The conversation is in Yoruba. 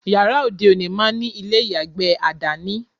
Yàrá òde òní máá ní ilé ìyàgbẹ̀ àdání